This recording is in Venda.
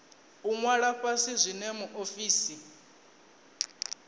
u ṅwala fhasi zwine muofisi